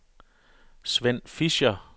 Sven Fischer